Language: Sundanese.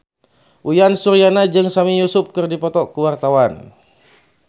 Uyan Suryana jeung Sami Yusuf keur dipoto ku wartawan